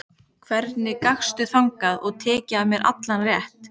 Hvernig gastu þagað og tekið af mér allan rétt?